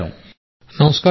నమస్కారాలు సార్